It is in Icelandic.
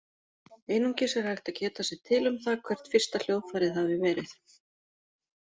Einungis er hægt að geta sér til um það hvert fyrsta hljóðfærið hafi verið.